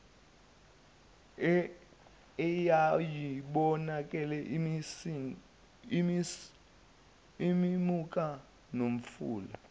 eyayibukeka isimuka nomfula